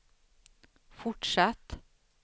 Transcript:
fortsatt